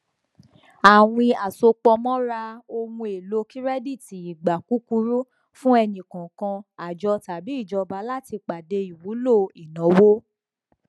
àwín àsopọmọra ohun èlò kirẹdítì ìgbà kúkúrú fún ẹnikọọkan àjọ tàbí ìjọba láti pàdé ìwúlò ìnáwó